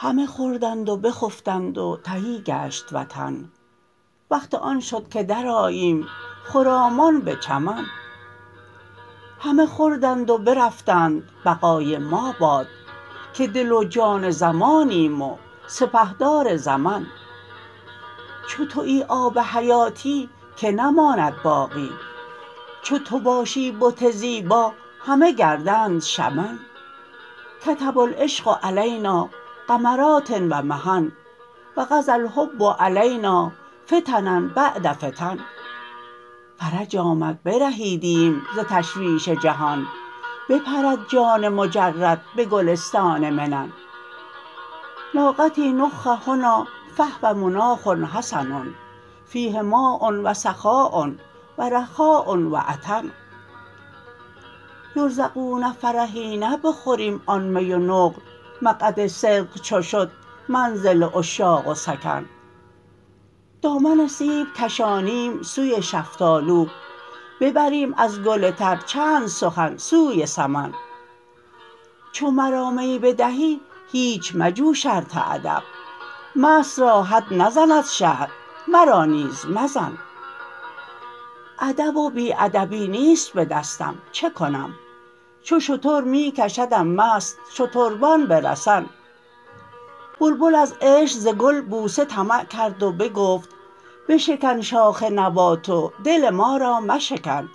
همه خوردند و بخفتند و تهی گشت وطن وقت آن شد که درآییم خرامان به چمن همه خوردند و برفتند بقای ما باد که دل و جان زمانیم و سپهدار زمن چو توی آب حیاتی کی نماند باقی چو تو باشی بت زیبا همه گردند شمن کتب العشق علینا غمرات و محن و قضی الحجب علینا فتنا بعد فتن فرج آمد برهیدیم ز تشویش جهان بپرد جان مجرد به گلستان منن ناقتی نخ هنا فهو مناخ حسن فیه ماء و سخاء و رخاء و عطن یرزقون فرحین بخوریم آن می و نقل مقعد صدق چو شد منزل عشاق سکن دامن سیب کشانیم سوی شفتالو ببریم از گل تر چند سخن سوی سمن چو مرا می بدهی هیچ مجو شرط ادب مست را حد نزند شرع مرا نیز مزن ادب و بی ادبی نیست به دستم چه کنم چو شتر می کشدم مست شتربان به رسن بلبل از عشق ز گل بوسه طمع کرد و بگفت بشکن شاخ نبات و دل ما را مشکن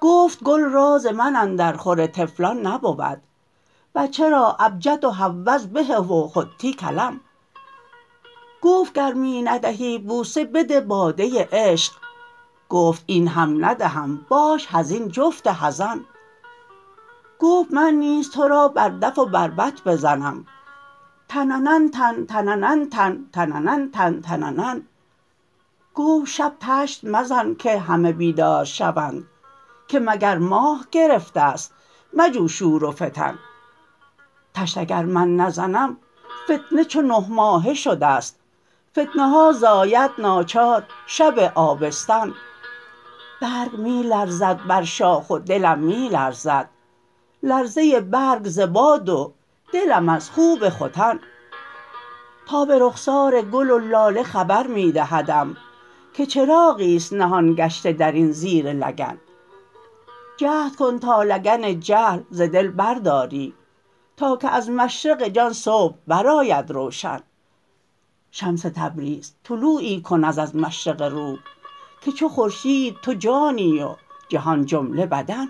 گفت گل راز من اندرخور طفلان نبود بچه را ابجد و هوز به و حطی کلمن گفت گر می ندهی بوسه بده باده عشق گفت این هم ندهم باش حزین جفت حزن گفت من نیز تو را بر دف و بربط بزنم تنن تن تننن تن تننن تن تننن گفت شب طشت مزن که همه بیدار شوند که مگر ماه گرفته ست مجو شور و فتن طشت اگر من نزنم فتنه چو نه ماهه شده ست فتنه ها زاید ناچار شب آبستن برگ می لرزد بر شاخ و دلم می لرزد لرزه برگ ز باد و دلم از خوب ختن تاب رخسار گل و لاله خبر می دهدم که چراغی است نهان گشته در این زیر لگن جهد کن تا لگن جهل ز دل برداری تا که از مشرق جان صبح برآید روشن شمس تبریز طلوعی کن از مشرق روح که چو خورشید تو جانی و جهان جمله بدن